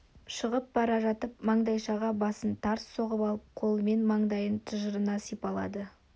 шығып бара жатып маңдайшаға басын тарс соғып алып қолымен маңдайын тыжырына сипалады